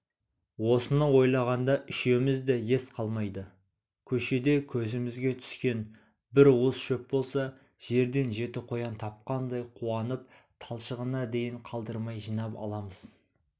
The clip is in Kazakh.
осыны ойлағанда үшеумізде де ес қалмайды көшеде көзімізге түскен бір уыс шөп болса жерден жеті қоян тапқандай қуанып талшығына дейін қалдырмай жинап аламыз